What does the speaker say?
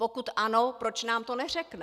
Pokud ano, proč nám to neřekne?